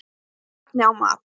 Ekki efni á mat